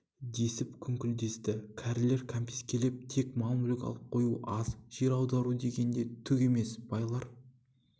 десіп күңкілдесті кәрілер кәмпескелеп тек мал-мүлкін алып қою аз жер аудару деген де түк емес байлар